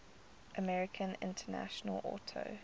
american international auto